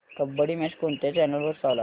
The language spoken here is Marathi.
कबड्डी मॅच कोणत्या चॅनल वर चालू आहे